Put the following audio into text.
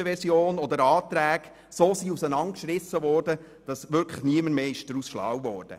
Es wurden auch Anträge derart auseinandergerissen, dass niemand mehr aus ihnen schlau wurde.